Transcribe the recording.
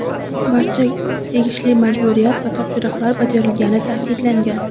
barcha tegishli majburiyat va topshiriqlar bajarilgani ta’kidlangan.